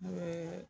N'o ye